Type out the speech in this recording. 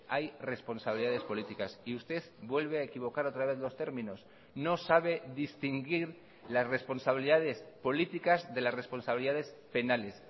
hay responsabilidades políticas y usted vuelve a equivocar otra vez los términos no sabe distinguir las responsabilidades políticas de las responsabilidades penales